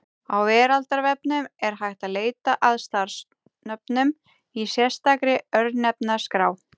Á Veraldarvefnum er hægt að leita að staðarnöfnum í sérstakri Örnefnaskrá.